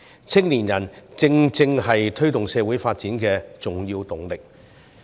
青年人正正是推動社會發展的重要動力。